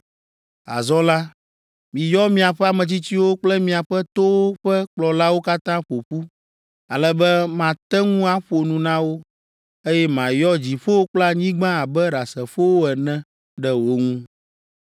Azɔ la, miyɔ miaƒe ametsitsiwo kple miaƒe towo ƒe kplɔlawo katã ƒo ƒu, ale be mate ŋu aƒo nu na wo, eye mayɔ dziƒo kple anyigba abe ɖasefowo ene ɖe wo ŋu.